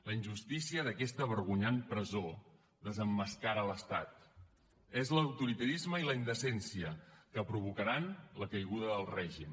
la injustícia d’aquesta vergonyant presó desemmascara l’estat són l’autoritarisme i la indecència que provocaran la caiguda del règim